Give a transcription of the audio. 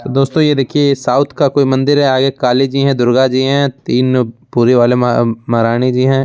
दोस्तों ये देखिए साउथ का कोई मंदिर है| आगे काली जी है दुर्गा जी है तीन पूरी वाली माँ महारानी जी है।